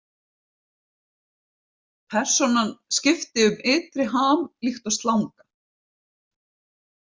Persónan skiptir um ytri ham líkt og slanga.